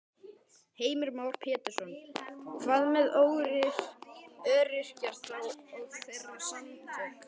Heimir Már Pétursson: Hvað með öryrkja þá og þeirra samtök?